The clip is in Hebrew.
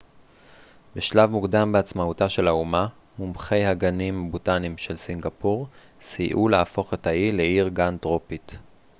בשלב מוקדם בעצמאותה של האומה מומחי הגנים הבוטניים של סינגפור סייעו להפוך את האי לעיר גן טרופית